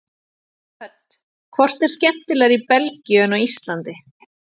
Hödd: Hvort er skemmtilegra í Belgíu en á Íslandi?